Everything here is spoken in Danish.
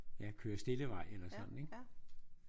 Ja kør stille vej eller sådan ik?